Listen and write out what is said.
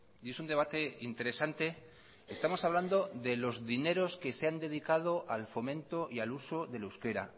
y es un debate interesante estamos hablando de los dineros que se han dedicado al fomento y al uso del euskera